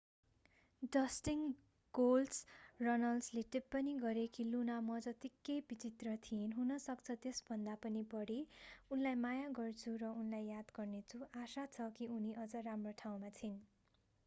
Dustin गोल्डस्ट” रनल्सले टिप्पणी गरे कि लुना मजत्तिकै विचित्र थिइन्...हुनसक्छ त्यसभन्दा पनि बढी...उनलाई माया गर्छु र उनलाई याद गर्नेछु...आशा छ कि उनी अझ राम्रो ठाउँमा छिन्।